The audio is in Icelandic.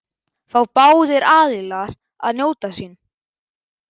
Fá báðir aðilar að njóta sín?